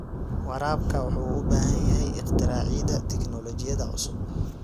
Waraabka wuxuu u baahan yahay ikhtiraacida tignoolajiyada cusub.